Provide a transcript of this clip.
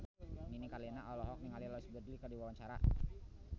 Nini Carlina olohok ningali Louise Brealey keur diwawancara